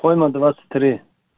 койна двадцать три